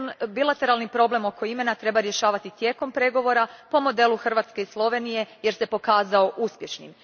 Bilateralni problem oko imena, treba rješavati tijekom pregovora, po modelu Hrvatske i Slovenije jer se pokazao uspješnim.